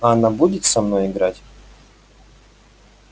а она будет со мной играть